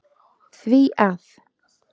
því að